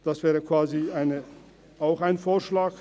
Das wäre quasi auch ein Vorschlag.